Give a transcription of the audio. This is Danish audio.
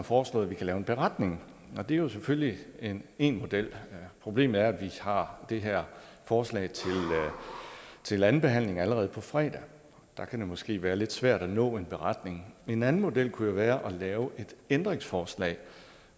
foreslået vi kan lave en beretning det er selvfølgelig én model problemet er at vi har det her forslag til anden behandling allerede på fredag det kan måske være lidt svært at nå en beretning en anden model kunne jo være at lave et ændringsforslag